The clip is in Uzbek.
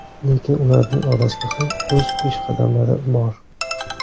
Lekin ularning orasida ham o‘z peshqadamlari bor.